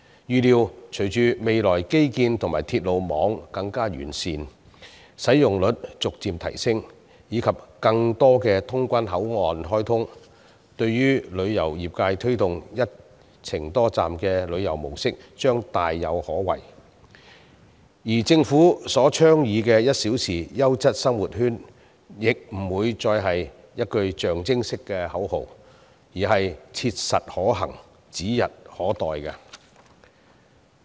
預料隨着未來基建及鐵路網更趨完善，使用率逐漸提升，以及有更多通關口岸開通，旅遊業界推動的"一程多站"旅遊模式將大有可為，政府倡議的1小時優質生活圈亦不會是一句象徵式的口號，而是切實可行，指日可待。